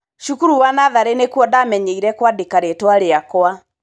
Cukuru wa natharĩ nĩkuo ndamenyeire kwa dĩka rĩtwa rĩakwa.